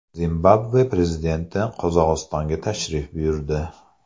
Zimbabve prezidenti Qozog‘istonga tashrif buyurdi.